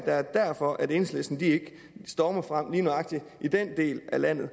er derfor enhedslisten ikke stormer frem lige nøjagtig i den del af landet